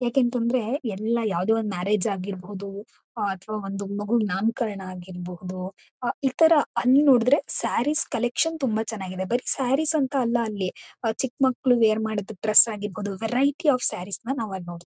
ಏಕಂತಂದ್ರೆ ಎಲ್ಲ ಯಾವುದೋ ಒಂದು ಮ್ಯಾರೇಜ್ ಆಗಿರ್ಬಹುದು ಅ ಅಥವ ಒಂದು ಮಗುವಿನ ನಾಮಕರ್ಣ ಆಗಿರ್ಬಹುದು. ಆ ಇತರ ಅಲ್ ನೋಡಿದ್ರೆ ಸ್ಯಾರೀಸ್ ಕಲೆಕ್ಷನ್ ತುಂಬಾ ಚೆನಾಗಿದೆ. ಬರಿ ಸ್ಯಾರೀಸ್ ಅಂತ ಅಲ್ಲ ಚಿಕ್ಮಕ್ಲು ವೆಆರ್ ಮಾಡುವ ಡ್ರೆಸ್ ಆಗಿರ್ಬಹುದು. ವೆರೈಟಿ ಆಫ್ ಸ್ಯಾರೀಸ್ ನ ಅಲ್ಲಿ ನೋಡ್ತ--